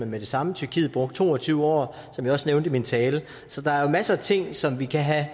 med det samme tyrkiet brugte to og tyve år som jeg også nævnte i min tale så der er jo masser af ting som vi kan have